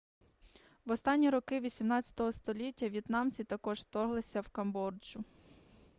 в останні роки 18 століття в'єтнамці також вторглися в камбоджу